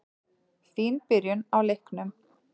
Fín byrjun á leiknum.